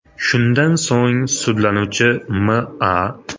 Shundan so‘ng, sudlanuvchi M.A.